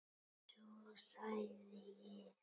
Svo þagði ég.